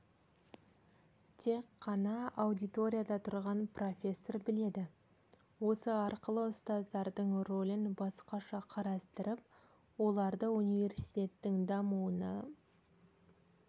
тек қана аудиторияда тұрған профессор біледі осы арқылы ұстаздардың рөлін басқаша қарастырып оларды университеттің дамуына